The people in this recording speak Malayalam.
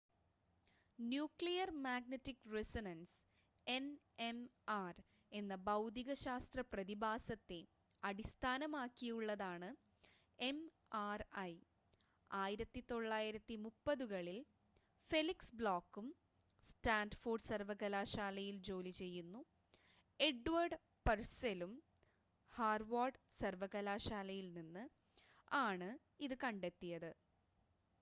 ന്യൂക്ലിയർ മാഗ്നറ്റിക് റിസൊണൻസ് എൻഎംആർ എന്ന ഭൗതികശാസ്ത്ര പ്രതിഭാസത്തെ അടിസ്ഥാനമാക്കിയുള്ളതാണ് എം‌ആർ‌ഐ. 1930-കളിൽ ഫെലിക്സ് ബ്ലോക്കും സ്റ്റാൻഫോർഡ് സർവകലാശാലയിൽ ജോലി ചെയ്യുന്നു എഡ്വേർഡ് പർസെലും ഹാർവാർഡ് സർവകലാശാലയിൽ നിന്ന് ആണ് ഇത് കണ്ടെത്തിയത്